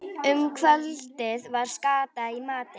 Um kvöldið var skata í matinn.